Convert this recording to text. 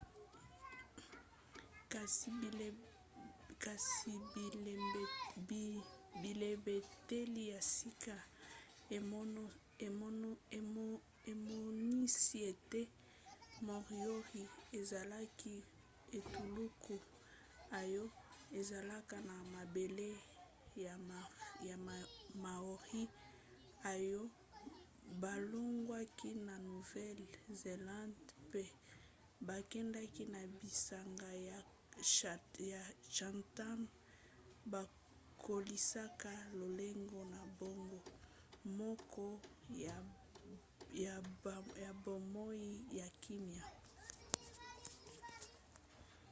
kasi bilembeteli ya sika emonisi ete moriori ezalaki etuluku oyo ezalaka na mabele ya maori oyo balongwaki na nouvelle-zélande mpe bakendaki na bisanga ya chatham bakolisaka lolenge na bango moko ya bomoi ya kimya